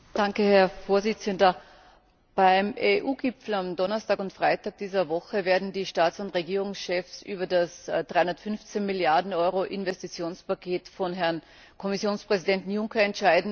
Herr Präsident! Beim EU Gipfel am Donnerstag und Freitag dieser Woche werden die Staats und Regierungschefs über das 315 Milliarden Euro Investitionspaket von Herrn Kommissionspräsidenten Juncker entscheiden.